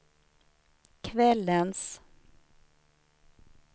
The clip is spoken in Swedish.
kvällens